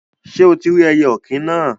Sé o tí rí ẹyẹ òkín náà?